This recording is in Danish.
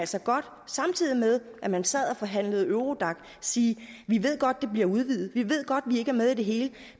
så godt samtidig med at man sad og forhandlede eurodac sige vi ved godt at det bliver udvidet vi ved godt at vi ikke er med i det hele